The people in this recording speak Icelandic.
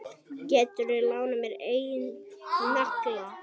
Geturðu lánað mér einn nagla.